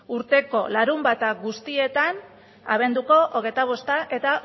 urteko larunbat guztietan abenduko hogeita bosta eta